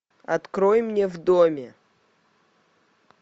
открой мне в доме